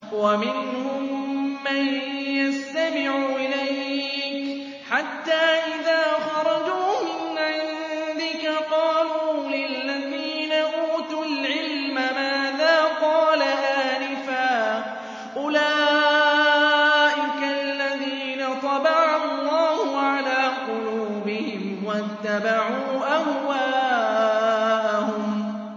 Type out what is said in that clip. وَمِنْهُم مَّن يَسْتَمِعُ إِلَيْكَ حَتَّىٰ إِذَا خَرَجُوا مِنْ عِندِكَ قَالُوا لِلَّذِينَ أُوتُوا الْعِلْمَ مَاذَا قَالَ آنِفًا ۚ أُولَٰئِكَ الَّذِينَ طَبَعَ اللَّهُ عَلَىٰ قُلُوبِهِمْ وَاتَّبَعُوا أَهْوَاءَهُمْ